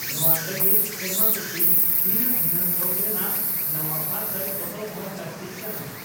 ᱱᱚᱣᱟ ᱞᱟᱹᱜᱤᱫ ᱥᱮᱨᱢᱟ ᱯᱤᱪᱷᱤ ᱵᱷᱤᱱᱟᱹ ᱵᱷᱤᱱᱟᱹ ᱛᱷᱚᱠ ᱨᱮᱱᱟᱜ ᱱᱟᱣᱟ ᱯᱟᱨᱥᱟᱞ ᱯᱚᱛᱚᱵ ᱦᱚᱸ ᱞᱟᱹᱠᱛᱤᱜ ᱠᱟᱱᱟ ᱾